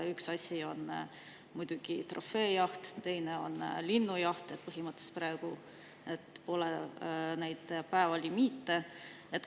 Üks asi on muidugi trofeejaht, teine on linnujaht, põhimõtteliselt praegu pole neid päevalimiite.